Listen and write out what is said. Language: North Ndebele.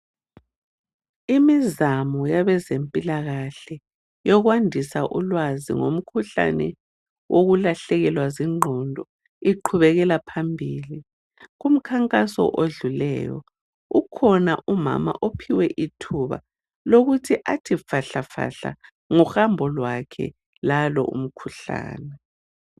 Imizamo yabezempilakahle eyokwadisa ulwazi ngomkhuhlane okulahlekelwa zingqondo uqhubekela phambili . Kumkhankaso odlulileyo kukhona umama ophiwe ithuba lokuthi athi fahlafahla ngohambo lwakhe lalo umkhuhlane.